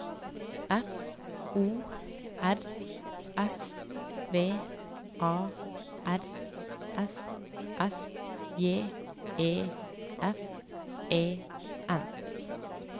F O R S V A R S S J E F E N